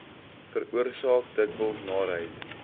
veroorsaak dikwels naarheid